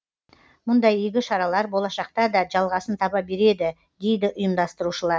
мұндай игі шаралар болашақта да жалғасын таба береді дейді ұйымдастырушылар